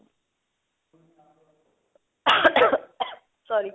sorry